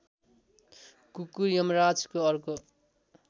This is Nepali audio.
कुकुर यमराजको अर्को